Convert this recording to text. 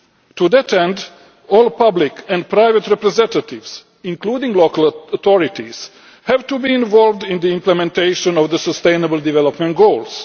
To that end, all public and private representatives, including local authorities, have to be involved in the implementation of the Sustainable Development Goals.